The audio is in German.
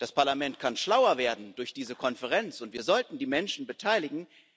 Das Parlament kann schlauer werden durch diese Konferenz, und wir sollten die Menschen beteiligen.